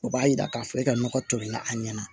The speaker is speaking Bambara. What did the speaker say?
O b'a yira k'a fɔ e ka nɔgɔ tolilila a ɲɛna